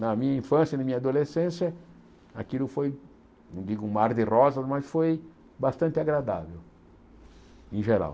Na minha infância, na minha adolescência, aquilo foi, não digo um mar de rosas, mas foi bastante agradável em geral.